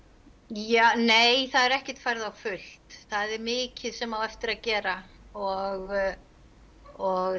ja nei það er ekkert farið á fullt það er mikið sem eftir á að gera og og